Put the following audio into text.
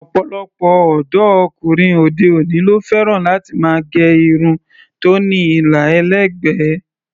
Ọ̀pọ̀lọpọ̀ ọ̀dọ́ ọkùnrin òde-òní ló fẹ́ràn láti máa gẹ irun tó ní àlà ẹlẹ́gbẹ̀ẹ́.